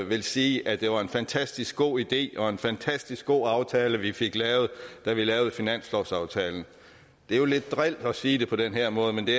ville sige at det var en fantastisk god idé og en fantastisk god aftale vi fik lavet da vi lavede finanslovsaftalen det er jo lidt dril at sige det på den her måde men det